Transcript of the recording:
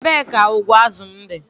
Ebee ka ụgbụ azụ m dị?